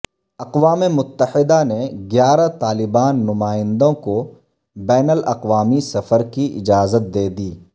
اقوام متحدہ نے گیارہ طالبان نمائندوں کو بین الاقوامی سفر کی اجازت دے دی